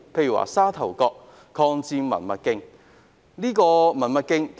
以沙頭角的抗戰文物徑為例。